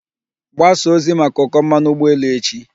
Gbasaa ozi maka ụkọ mmanụ ụgbọ elu echi.